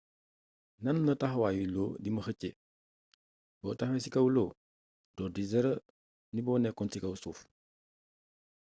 nanla taxawayu lo dima xeeccé bo taxawé ci kaw lo do diis dara nib o nékkon ci kaw suuf